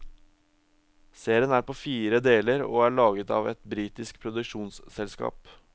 Serien er på fire deler og er laget av et britisk produksjonsselskap.